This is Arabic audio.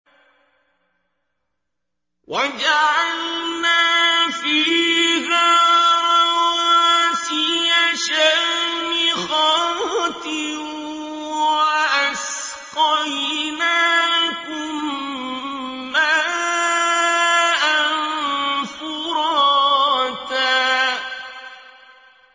وَجَعَلْنَا فِيهَا رَوَاسِيَ شَامِخَاتٍ وَأَسْقَيْنَاكُم مَّاءً فُرَاتًا